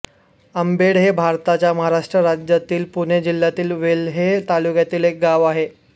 आंबेड हे भारताच्या महाराष्ट्र राज्यातील पुणे जिल्ह्यातील वेल्हे तालुक्यातील एक गाव आहे